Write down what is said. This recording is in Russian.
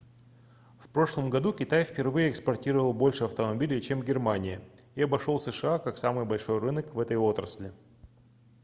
в прошлом году китай впервые экспортировал больше автомобилей чем германия и обошел сша как самый большой рынок в этой отрасли